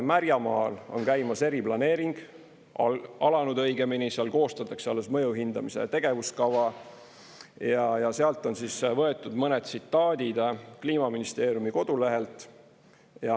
Märjamaal on käimas eriplaneering, alanud õigemini, seal koostatakse alles mõju hindamise tegevuskava ja seal on võetud mõned tsitaadid Kliimaministeeriumi kodulehelt.